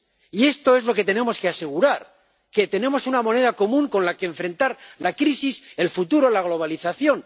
Y esto es lo que tenemos que asegurar, que tenemos una moneda común con la que enfrentar la crisis, el futuro, la globalización.